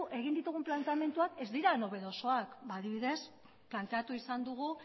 egin ditugun planteamenduak ez dira nobedosoak adibidez planteatu izan dugu